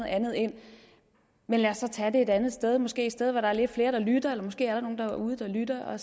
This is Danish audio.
andet ind men lad os tage det et andet sted måske et sted hvor der er lidt flere der lytter eller måske er der nogle derude der lytter